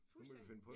Fuldstændig